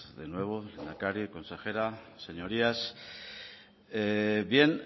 de nuevo lehendakari consejera señorías bien